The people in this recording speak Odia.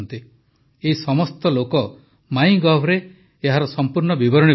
ଏହି ସମସ୍ତ ଲୋକ ମାଇଁଗଭରେ ଏହାର ସଂପୂର୍ଣ୍ଣ ବିବରଣୀ ପଠାଇଛନ୍ତି